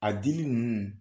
A dili ninnu